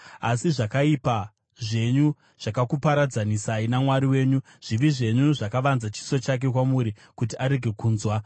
Asi zvakaipa zvenyu zvakakuparadzanisai naMwari wenyu; zvivi zvenyu zvakavanza chiso chake kwamuri kuti arege kunzwa.